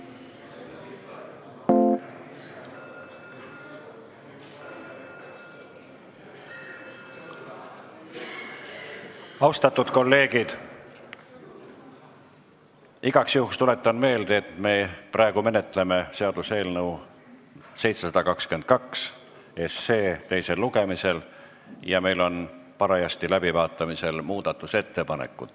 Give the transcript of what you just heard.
Austatud kolleegid, igaks juhuks tuletan meelde, et me praegu menetleme seaduseelnõu 722 teisel lugemisel ja meil on parajasti läbivaatamisel muudatusettepanekud.